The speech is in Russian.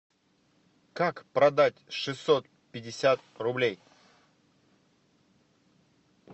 как продать шестьсот пятьдесят рублей